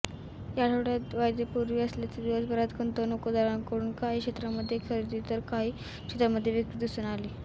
या आठवडयात वायदेपूर्ती असल्याने दिवसभरात गुंतवणूकदारांकडून काही क्षेत्रांमध्ये खरेदी तर काही क्षेत्रांमध्ये विक्री दिसून आली